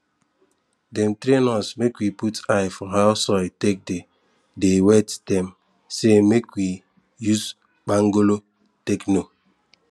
dem train us make we put eyes for how soil take dey dey wet dem say make we use kpangolo take know